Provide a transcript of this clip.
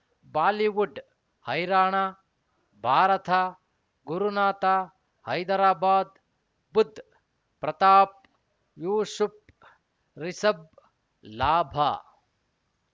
Bollywood ಹೈರಾಣ ಭಾರತ ಗುರುನಾಥ ಹೈದರಾಬಾದ್ ಬುಧ್ ಪ್ರತಾಪ್ ಯೂಶುಫ್ ರಿಷಬ್ ಲಾಭ